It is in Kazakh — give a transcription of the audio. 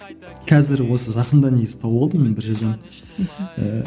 қазір осы жақында негізі тауып алдым мен бір жерден мхм ііі